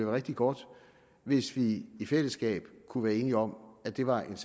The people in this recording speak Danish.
rigtig godt hvis vi i fællesskab kunne være enige om at det var et